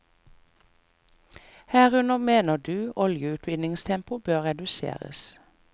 Herunder mener du oljeutvinningstempoet bør reduseres.